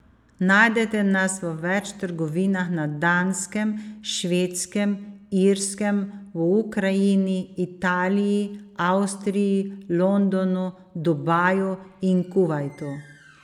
Najdete nas v več trgovinah na Danskem, Švedskem, Irskem, v Ukrajini, Italiji, Avstriji, Londonu, Dubaju in Kuvajtu.